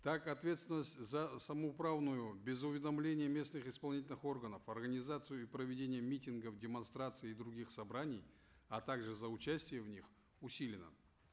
так отвественность за самоуправную без уведомления местных исполнительных органов организацию и проведение митингов демонстраций и других собраний а также за участие в них усилена